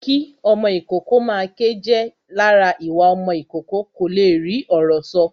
Kí ọmọ ìkókó máa ké jẹ́ lára ìwà ọmọ ìkókó kó le rí ọ̀rọ̀ sọ